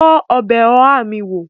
Tọ́ ọbẹ̀ oha mi wó!